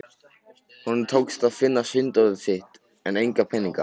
Honum tókst að finna sunddótið sitt en enga peninga.